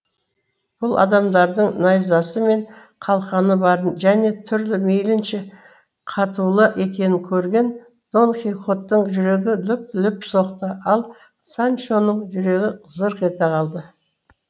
бұл адамдардың найзасы мен қалқаны барын және түрлі мейлінше қатулы екенін көрген дон кихоттың жүрегі лүп лүп соқты ал санчоның жүрегі зырқ ете қалды